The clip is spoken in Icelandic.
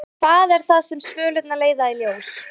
En hvað er það sem svölurnar leiða í ljós?